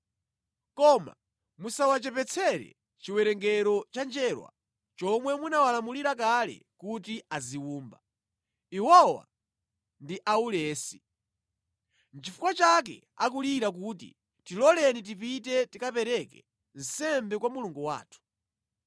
Koma musawachepetsere chiwerengero cha njerwa chomwe munawalamulira kale kuti aziwumba. Iwowa ndi aulesi. Nʼchifukwa chake akulira kuti, ‘Tiloleni tipite tikapereke nsembe kwa Mulungu wathu.’